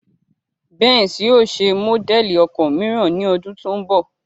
Benz yóò ṣe módẹ̀lì ọkọ̀ mìíràn ní ọdún tó ń bọ̀